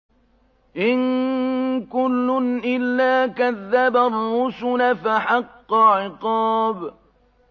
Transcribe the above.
إِن كُلٌّ إِلَّا كَذَّبَ الرُّسُلَ فَحَقَّ عِقَابِ